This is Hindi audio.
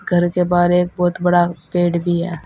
घर के बाहर एक बहुत बड़ा पेड़ भी है।